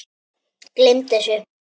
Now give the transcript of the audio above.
Gleymdu þessu